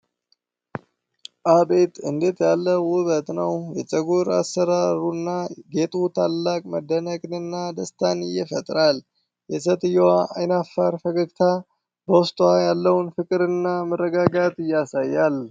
አቤት እንዴት ያለ ውብት ነው! የፀጉር አሠራሩና ጌጡ ታላቅ መደነቅንና ደስታን ይፈጥራሉ። የሴትዮዋ ዓይናፋር ፈገግታ በውስጧ ያለውን ፍቅር እና መረጋጋት ያሳያል ።